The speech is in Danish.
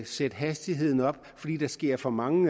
sætte hastigheden op fordi der sker for mange